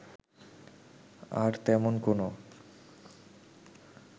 আর তেমন কোনো